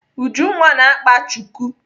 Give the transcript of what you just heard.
Ujunwa na-akpa chuku.